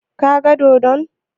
Ka ga dodon?